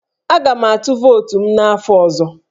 Aga m atụ vootu m n'afọ ọzọ